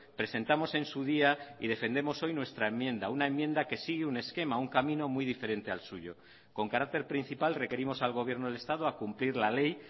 presentamos en su día y defendemos hoy nuestra enmienda una enmienda que sigue un esquema un camino muy diferente al suyo con carácter principal requerimos al gobierno del estado a cumplir la ley